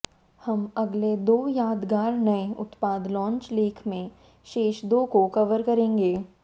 हम अगले दो यादगार नए उत्पाद लॉन्च लेख में शेष दो को कवर करेंगे